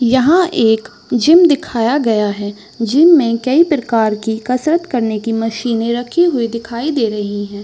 यहाँ एक जिम दिखाया गया है जिम मे कई प्रकार कि कशरत करने कि मशीने रखी हुई दिखाई दे रही है।